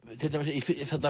í